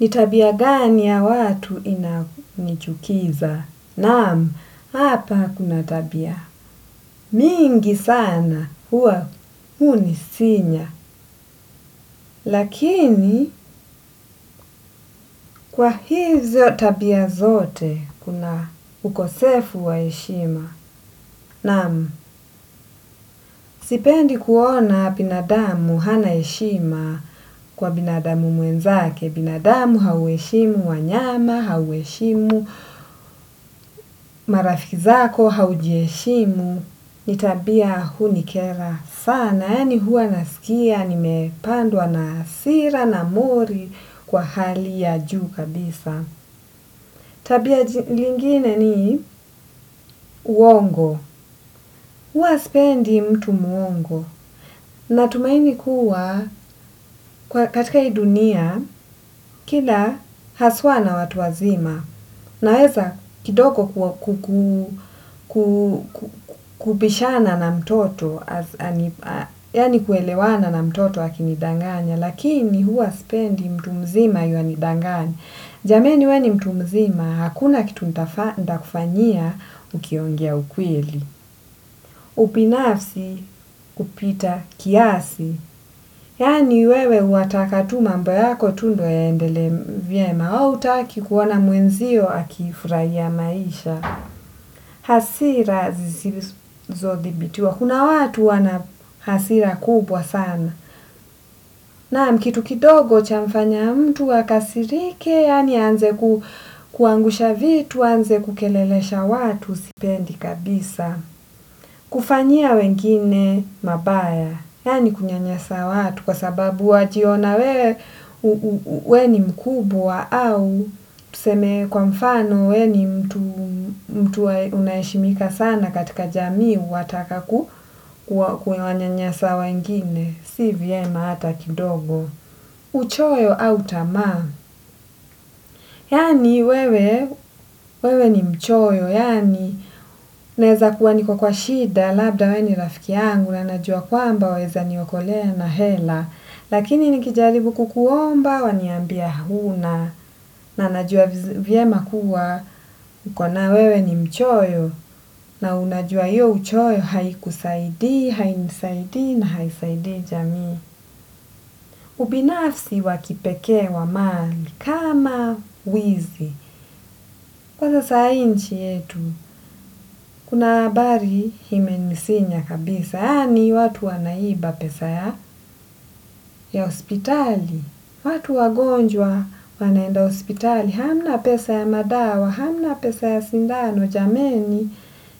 Ni tabia gani ya watu inanichukiza? Naam, hapa kuna tabia. Mingi sana, huwa hunisinya. Lakini, kwa hizo tabia zote, kuna ukosefu wa eshima. Naam, sipendi kuona binadamu hana heshima kwa binadamu mwenzake. Binadamu, haueshimu wanyama, haueshimu marafiki zako, haujieshimu. Ni tabia hunikera sana. Yaani huwa nasikia, nimepandwa na hasira na mori kwa hali ya juu kabisa. Tabia lingine ni uongo. Uwasipendi mtu muongo. Natumaini kuwa katika ii dunia, kila haswa na watu wazima. Naweza kidogo kubishana na mtoto, yani kuelewana na mtoto akinidanganya, lakini huwa spendi mtu mzima yuwa nidanganya. Jameni we ni mtu mzima, hakuna kitu ntakufanyia ukiongea ukweli. Upinafsi kupita kiasi. Yaani wewe wataka tu mambo yako tu ndo yaendele vyema wewe hautaki kuoaa mwenzio akifuraiya maisha. Hasira zisizodhibitiwa. Kuna watu wana hasira kubwa sana. Naam kitu kidogo cha mfanya mtu akasirike yaani aanze kuangusha vitu, aanze kukelelesha watu sipendi kabisa. Kufanyia wengine mabaya, yaani kunyanyasa watu kwa sababu wajiona wewe, we ni mkubwa au tuseme kwa mfano we ni mtu unaeshimika sana katika jamii wataka kuwanyanyasa wengine, si vyema hata kidogo. Uchoyo au tama yaani wewe wewe ni mchoyo yaani naeza kuwa niko kwa shida. Labda we ni rafiki yangu. Na najua kwamba waeza ni okolea na hela. Lakini nikijaribu kukuomba waniambia huna. Na najua vyema kuwa ukonayo wewe ni mchoyo. Na unajua iyo uchoyo haikusaidi hainisaidi na haisaidi jamii. Ubinafsi wa kipekee wa mali kama wizi, kwanza sai nchi yetu, kuna abari himenisinya kabisa. Yaani watu wanaiba pesa ya hospitali, watu wagonjwa wanaenda ospitali, hamna pesa ya madawa, hamna pesa ya sindano, jameni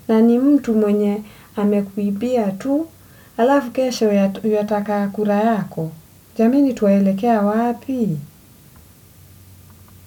na ni mtu mwenye amekuibia tu, alafu kesho yuataka kura yako, jameni tuwaelekea wapi?